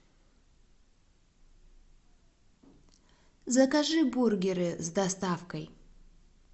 закажи бургеры с доставкой